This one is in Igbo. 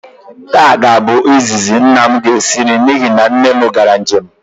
Taa ga-abụ izizi nna m ga-esi nri n'ihi na nne m gara njem